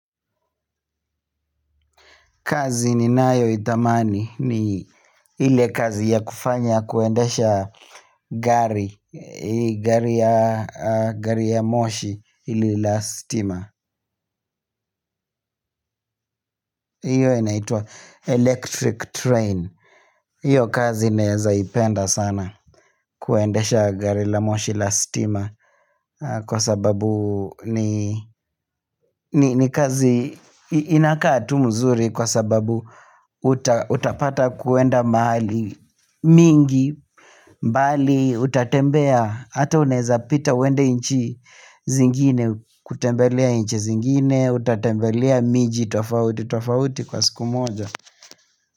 Kazi ni nayo tamani ni ili kazi ya kufanya kuendesha gari Gari ya moshi ili lastima Iyo inaitwa electric train hIyo kazi nawezaipenda sana kuendesha gari la moshi lastima Kwa sababu ni kazi inakaa tu mzuri kwa sababu Utapata kwenda mahali mingi mbali utatembea Ata uneza pita uende nchi zingine kutembelea nchi zingine Utatembelea miji tofauti tofauti kwa siku moja.